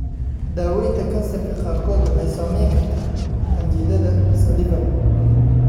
Dawaynta kansarka qaarkood waxay saamayn kartaa qanjidhada salivary.